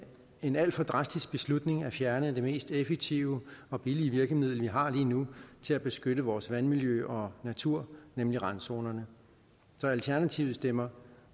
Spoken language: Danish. en alt for drastisk beslutning at fjerne det mest effektive og billige virkemiddel vi har lige nu til at beskytte vores vandmiljø og natur nemlig randzonerne så alternativet stemmer